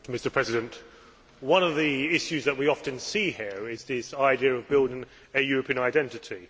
Mr President, one of the issues that we often see here is this idea of building a European identity.